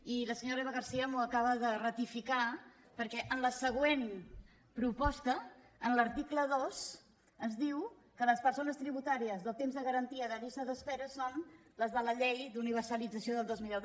i la senyora eva garcía m’ho acaba de ratificar perquè en la següent proposta en l’article dos ens diu que les persones tributàries del temps de garantia de llista d’espera són les de la llei d’universalització del dos mil deu